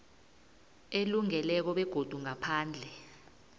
elungileko begodu ngaphandle